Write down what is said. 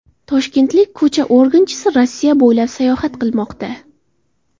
Toshkentlik ko‘cha organchisi Rossiya bo‘ylab sayohat qilmoqda.